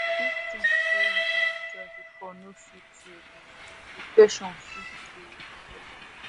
if things wey you dey enjoy before no sweet you again depression fit dey develop.